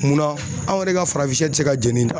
Munna anw yɛrɛ ka farafinsɛ ti se ka jeni d'a